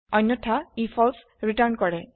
অন্যথা ই false return কৰে